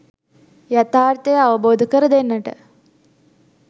යථාර්ථය අවබෝධ කර දෙන්නට